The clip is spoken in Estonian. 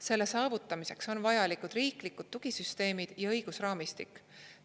Selle saavutamiseks on vajalikud riiklikud tugisüsteemid ja õigusraamistik.